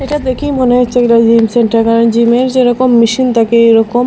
এটা দেখেই মনে হচ্ছে এইটা জিম সেন্টার কারণ জিমের যেরকম মেশিন থাকে এইরকম--